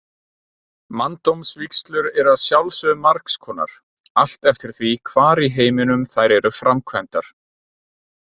Manndómsvígslur eru að sjálfsögðu margs konar, allt eftir því hvar í heiminum þær eru framkvæmdar.